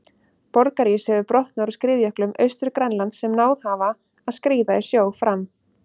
Borgarís hefur brotnað úr skriðjöklum Austur-Grænlands sem náð hafa að skríða í sjó fram.